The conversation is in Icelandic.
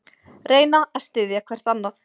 Reyna að styðja hvert annað